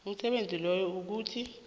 umsebenzi loyo ukuthi